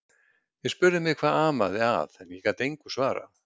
Þeir spurðu mig hvað amaði að en ég gat engu svarað.